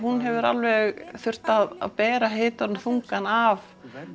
hefur alveg þurft að bera hitann og þungann af